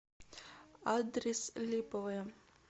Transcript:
адрес липовое